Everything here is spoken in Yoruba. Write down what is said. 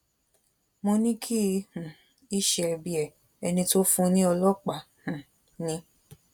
mo ní kì um í ṣe ẹbí ẹ ẹni tó fún un ní ọlọpàá um ni